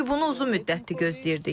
Çünki bunu uzun müddətdir gözləyirdik.